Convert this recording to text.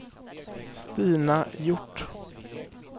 Stina Hjort